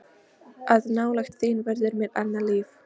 Að nálægð þín verður mér annað líf.